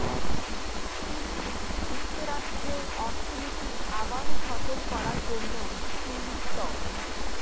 তিনি যুক্তরাষ্ট্রের অর্থনীতি আবারও সচল করার জন্য তিন স্তর